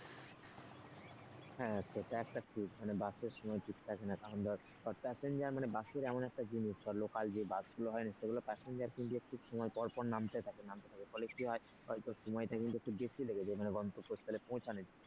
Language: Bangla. হ্যাঁ সেটা একটা ঠিক মানে বাসের সময় ঠিক থাকে না তেমন ধর passenger মানে বাসের এমন একটা জিনিস সব local যে বাসগুলো হয় সেগুলোর passenger কিন্তু একটু সময় পর পর নামতে থাকে নামতে থাকে ফলে কি হয় হয়তো সময়টা কিন্তু একটু বেশি লেগে যায় মানে গন্তব্যস্থলে পৌছানোর জন্য।